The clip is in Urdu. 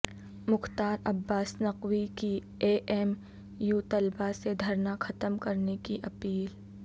مختار عباس نقوی کی اے ایم یو طلبہ سے دھرنا ختم کرنے کی اپیل